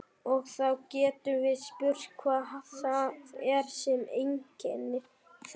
Og þá getum við spurt hvað það er sem einkennir þekkingu.